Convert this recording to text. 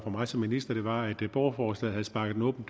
fra mig som minister var at det borgerforslag havde sparket en åben